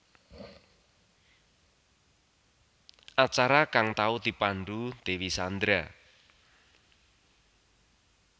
Acara kang tau dipandhu Dewi Sandra